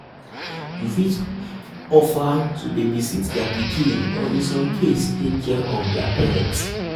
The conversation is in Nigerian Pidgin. you fit offer offer to babysit their pikin or in some case take care of their pet